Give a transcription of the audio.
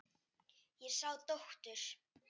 Ég sá dóttur.